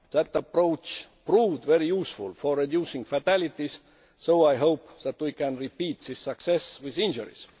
That approach proved very useful for reducing fatalities, so I hope that we can repeat this success with reducing injuries.